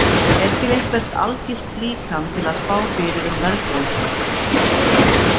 Er til eitthvert algilt líkan til að spá fyrir um verðbólgu?